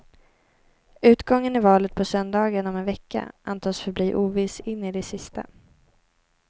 Utgången i valet på söndagen om en vecka antas förbli oviss in i det sista.